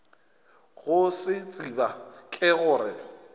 go se tseba ke gore